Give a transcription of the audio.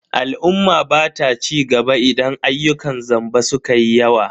Al'umma bata cigaba idan ayyukan zamba sukayi yawa.